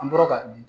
An bɔra ka